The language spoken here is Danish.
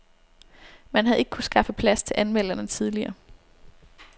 Man havde ikke kunnet skaffe plads til anmelderne tidligere.